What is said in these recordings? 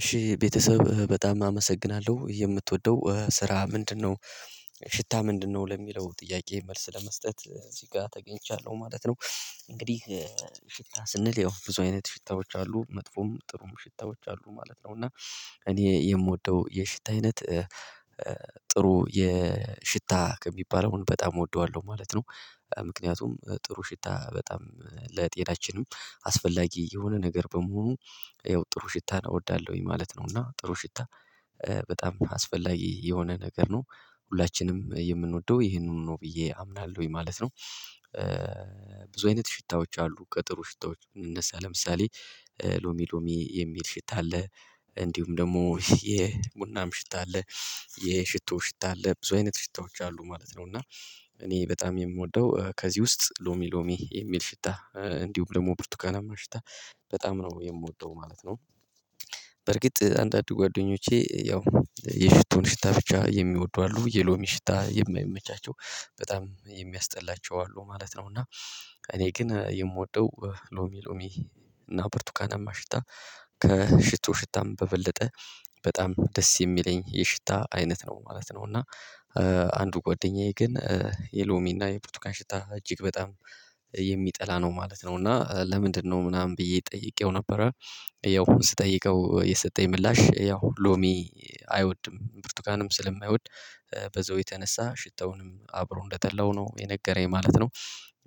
እሺ ቤተሰብ በጣም አመሰግናለሁ የምትወደው ስራ ምንድነው ሽታ ምንድነው? ለሚለው ጥያቄ መልስ ለመስጠት እዚህ ጋር ተገኝቻለሁ ማለት ነው። እንግዲህ ሽታ ስንል ያው ብዙ አይነት ሽታዎች አሉ መጥፎም ጥሩም ሽታዎች አሉ ማለት ነው። እና እኔ የምወደው የሽታ አይነት ጥሩ የሽታ ከሚባለው በጣም እወደዋለሁ ማለት ነው። ምክንያቱም ጥሩ ሽታ በጣም ለጤናችንም አስፈላጊ የሆነ ነገር በመሆኑ ያው ጥሩ ሽታ እወዳለሁኝ ማለት ነው። እና ጥሩ ሽታ በጣም አስፈላጊ የሆነ ነገር ነው ሁላችንም የምንወደው ይሄንኑ ነው ብዬ አምናለሁኝ ማለት ነው። ብዙ አይነት ሽታዎች አሉ ከጥሩ ሽታዎች የምንነሳ ለምሳሌ ሎሚ ሎሚ የሚል ሽታ አለ። እንዲሁም ደግሞ የቡናም ሽታ አለ። የሽቶ ሽታ አለ ብዙ አይነት ሽታዎች አሉ ማለት ነው። እና እኔ በጣም የምወደው ከዚህ ውስጥ ሎሚ ሎሚ የሚል ሽታ እንዲሁም ደግሞ ብርቱካናማ ሽታ በጣም ነው የምወደው ማለት ነው። በርግጥ አንዳንድ ጓደኞቼ ያው የሽቶን ሽታ ብቻ የሚወዱ አሉ የሎሚ ሽታ የማይመቻቸው በጣም የሚያስጠላቸው አሉ ማለት ነው። እና እኔ ግን የምወደው ሎሚ ሎሚ እና ብርቱካናማ ሽታ ከሽቶ ሽታም በበለጠ በጣም ደስ የሚለኝ የሽታ አይነት ነው ማለት ነው። እና አንዱ ጓደኛዬ ግን የሎሚ እና የብርቱካን ሽታ እጅግ በጣም የሚጠላ ነው ማለት ነው። እና ለምንድነው ምናምን ብዬ ጠይቄው ነበረ። ያው ስጠይቀው የሰጠኝ ምላሽ ያው ሎሚ አይወድም ብርቱካንም ስለማይወድ በዛው የተነሳ ሽታውንም አብሮ እንደጠላው ነው የነገረኝ ማለት ነው።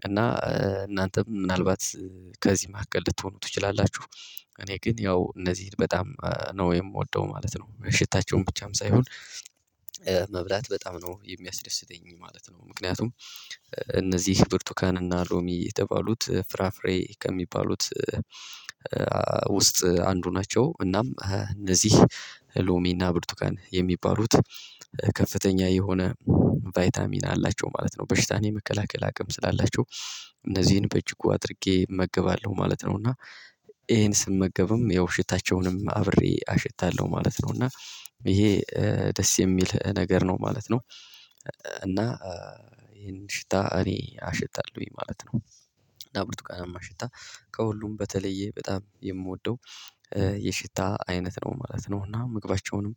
እና እናንተም ምናልባት ከዚህ መሀከል ልትሆኑ ትችላላችሁ። እኔ ግን ያው እነዚህ በጣም ነው የምወደው ማለት ነው። ሽታቸውን ብቻም ሳይሆን መብላት በጣም ነው የሚያስደስተኝ ማለት ነው። ምክንያቱም እነዚህ ብርቱካን እና ሎሚ የተባሉት ፍራፍሬ ከሚባሉት ውስጥ አንዱ ናቸው። እናም እነዚህ ሎሜና ብርቱካን የሚባሉት ከፍተኛ የሆነ ቫይታሚን አላቸው ማለት ነው። በሽታን የመከላከል አቅም ስላላቸው እነዚህን በእጅጉ አድርጌ እመገባለሁ ማለት ነው። እና ይሄን ስመገብም ያው ሽታቸውንም አብሬ አሽታለሁ ማለት ነው። እና ይሄ ደስ የሚል ነገር ነው ማለት ነው። እና ይሄን ሽታ እኔ አሸታለሁኝ ማለት እና ብርቱካናማ ሽታ ከሁሉም በተለየ በጣም የምወደው የሽታ አይነት ነው ማለት ነው። እና ምግባቸውንም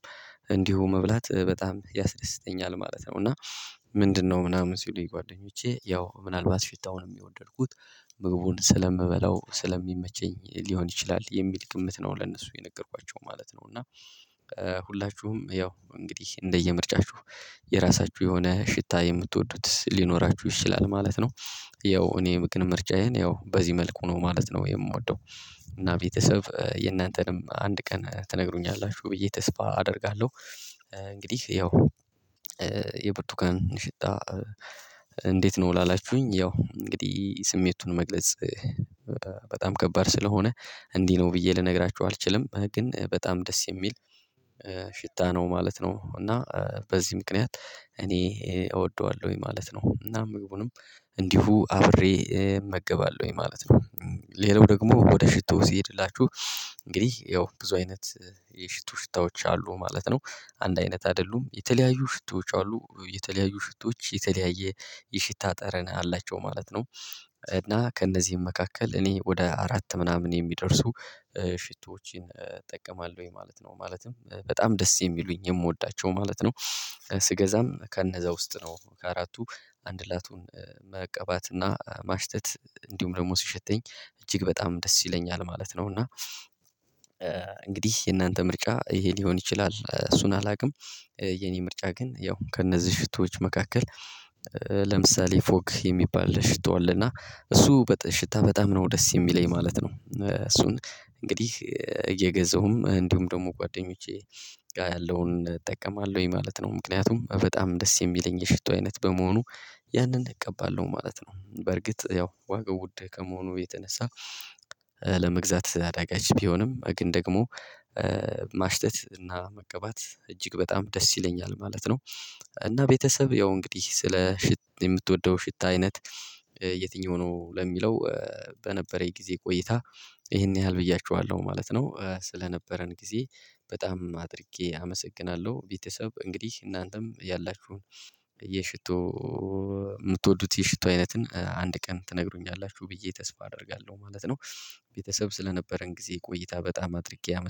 እንዲሁ መብላት በጣም ያስደስተኛል ማለት ነው። እና ምንድነው ምናምን ሲሉኝ ጓደኞቼ ያው ምናልባት ሽታውን የወደድኩት ምግቡን ስለምበላው ስለሚመቸኝ ሊሆን ይችላል የሚል ግምት ነው ለእነሱ የነገርኳቸው ማለት ነው። እና ሁላችሁም ያው እንግዲህ እንደየምርጫችሁ የራሳችሁ የሆነ ሽታ የምትወዱት ሊኖራችሁ ይችላል ማለት ነው። ያው እኔ ምክንያት ምርጫዬን ያው በዚህ መልኩ ነው ማለት ነው የምወደው። እና ቤተሰብ የእናንተንም አንድ ቀን ትነግሩኛላችሁ ብዬ ተስፋ አደርጋለሁ። እንግዲህ ያው የብርቱካን ሽታ እንዴት ነው? ላላችሁኝ ያው እንግዲህ ስሜቱን መግለጽ በጣም ከባድ ስለሆነ እንዲህ ነው ብዬ ልነግራችሁ አልችልም ግን በጣም ደስ የሚል ሽታ ነው ማለት ነው። እና በዚህ ምክንያት እኔ እወደዋለሁኝ ማለት ነው። እና ምግቡንም እንዲሁ አብሬ እመገባለሁኝ ማለት ነው። ሌላው ደግሞ ወደ ሽቶ ስሄድላችሁ እንግዲህ ያው ብዙ አይነት የሽቶ ሽታዎች አሉ ማለት ነው። አንድ አይነት አይደሉም የተለያዩ ሽቶዎች አሉ የተለያዩ ሽቶዎች የተለያየ የሽታ ጠረን አላቸው ማለት ነው። እና ከእነዚህም መካከል እኔ ወደ አራት ምናምን የሚደርሱ ሽቶዎችን እጠቀማለሁኝ ማለት ነው። ማለትም በጣም ደስ የሚሉኝ የምወዳቸው ማለት ነው። ስገዛም ከነዛ ውስጥ ነው ከአራቱ አንድ ላቱን መቀባትና ማሽተት እንዲሁም ደግሞ ሲሸተኝ እጅግ በጣም ደስ ይለኛል ማለት ነው። እና እንግዲህ የእናንተ ምርጫ ይሄ ሊሆን ይችላል እሱን አላውቅም። የኔ ምርጫ ግን ያው ከእነዚህ ሽቶዎች መካከል ለምሳሌ ፎግ የሚባል ሽቶ አለ። እና እሱ በጣም ሽታ በጣም ነው ደስ የሚለኝ ማለት ነው። እሱን እንግዲህ እየገዛሁም እንዲሁም ደግሞ ጓደኞቼ ጋር ያለውን እጠቀማለሁኝ ማለት ነው። ምክንያቱም በጣም ደስ የሚለኝ የሽቶ አይነት በመሆኑ ያንን እቀባለሁ ማለት ነው። በርግጥ ያው ዋጋው ውድ ከመሆኑ የተነሳ ለመግዛት አዳጋች ቢሆንም ግን ደግሞ ማሽተት እና መቀባት እጅግ በጣም ደስ ይለኛል ማለት ነው። እና ቤተሰብ ያው እንግዲህ ስለ ሽቶ የምትወደው ሽት አይነት የትኛው ነው? ለሚለው በነበረኝ ጊዜ ቆይታ ይሄን ያህል ብያችኋለሁ ማለት ነው። ስለነበረን ጊዜ በጣም አድርጌ አመሰግናለሁ። ቤተሰብ እንግዲህ እናንተም ያላችሁን የሽቶ የምትወዱት የሽቶ አይነትን አንድ ቀን ትነግሩኛላችሁ ብዬ ተስፋ አደርጋለሁ ማለት ነው። ቤተሰብ ስለነበረን ጊዜ ቆይታ በጣም አድርጌ